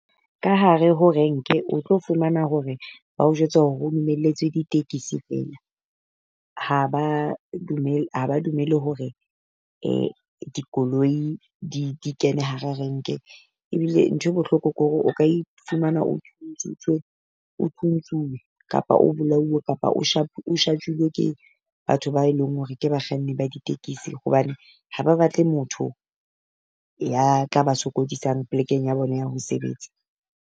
Ka hare ho rank-e o tlo fumana hore ba o jwetsa hore o ditekesi feela, ha ba ha ba dumele hore dikoloi di di kene hara rank-e. E bile ntho e bohloko ke hore o ka ifumana o o thuntswe kapa o bolauwe kapa o o shatjuwe ke batho ba e leng hore ke bakganni ba ditekesi hobane. Ha ba batle motho ya tla ba sokodisang plekeng ya bona ya ho sebetsa.